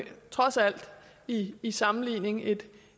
trods alt i i sammenligning et